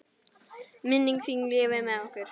Minning þín lifir með okkur.